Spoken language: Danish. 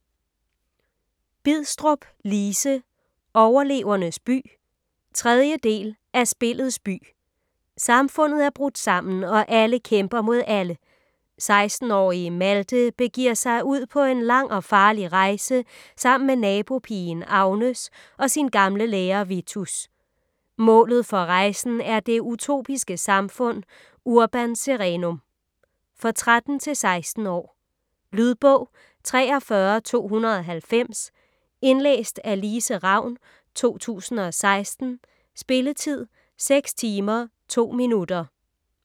Bidstrup, Lise: Overlevernes by 3. del af Spillets by. Samfundet er brudt sammen, og alle kæmper mod alle. 16-årige Malte begiver sig ud på en lang og farlig rejse sammen med nabopigen Agnes og sin gamle lærer Vitus. Målet for rejsen er det utopiske samfund Urban Serenum. For 13-16 år. Lydbog 43290 Indlæst af Lise Ravn, 2016. Spilletid: 6 timer, 2 minutter.